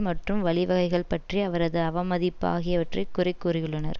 மற்றும் வழிவகைகள் பற்றிய அவரது அவமதிப்பு ஆகியவற்றை குறை கூறியுள்ளனர்